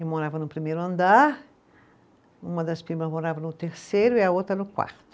Eu morava no primeiro andar, uma das primas morava no terceiro e a outra no quarto.